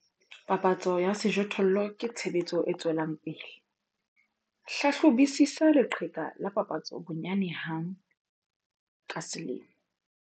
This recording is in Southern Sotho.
Papatso ya sejothollo ke tshebetso e tswelang pele, hlahlobisisa leqheka la papatso bonyane hang ka selemo.